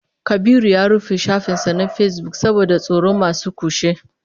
Kabiru ya rufe shafin sa na Facebook saboda tsoron masu kutse